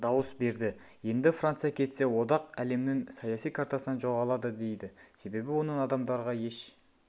дауыс берді енді франция кетсе одақ әлемнің саяси картасынан жоғалады дейді себебі оның адамдарға еш